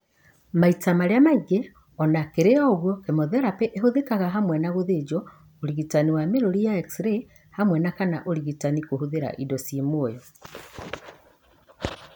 Maita marĩa maingĩ , ona kĩri ũguo, kemotherapĩ ĩhũthĩkaga hamwe na gũthĩnjwo, ũrigitani na mĩrũri ya x-ray hamwa na kana ũrigitani kũhũthĩra indo ciĩ muoyo